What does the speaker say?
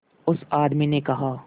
उस आदमी ने कहा